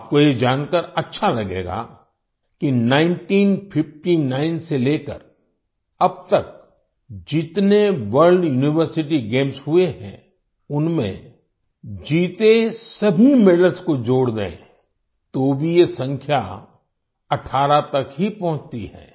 आपको ये जानकर अच्छा लगेगा कि 1959 से लेकर अब तक जितने वर्ल्ड यूनिवर्सिटी गेम्स हुए हैं उनमें जीते सभी मेडल्स को जोड़ दें तो भी ये संख्या 18 तक ही पहुँचती है